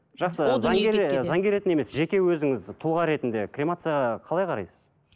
жақсы заңгер ы заңгер ретінде емес жеке өзіңіз тұлға ретінде кремацияға қалай қарайсыз